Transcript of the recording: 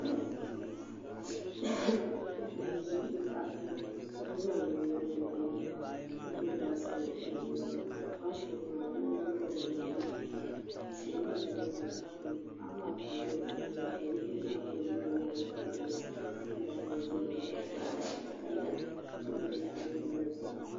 Paɣa m ʒi tahapoŋ ka zaŋ bini niŋ di puuni kohara ka gbubi baskɛti o nuuni baskɛti maa binyɛra n bɛ di puuni ka o kohara tihi nyɛla din bɛ dinni paɣa maa pilila zipiligu ka zipiligu maa mini o liiga maa nyɛ kala yinsi ka daagi o zabiri baɣali yaɣayini ka gbubi laɣari o nuuni